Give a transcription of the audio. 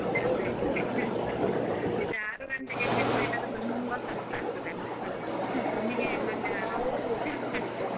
ಅದೇ ಈಗ ಆರು ಗಂಟೆಗೆ ಎಬ್ಬಿಸಬೇಕಾದ್ರೆ ತುಂಬಾ ಕಷ್ಟ ಆಗ್ತದೆ ಮಕ್ಕಳನ್ನು ನಮಿಗೆ ಮಂಡೆ ಹಾಳಾಗ್ತದೆ .